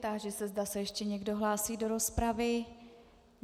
Táži se, zda se ještě někdo hlásí do rozpravy.